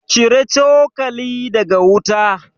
Cire cokali daga wuta